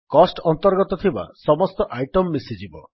cost ଅନ୍ତର୍ଗତ ଥିବା ସମସ୍ତ ଆଇଟମ୍ ମିଶିଯିବ